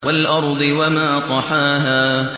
وَالْأَرْضِ وَمَا طَحَاهَا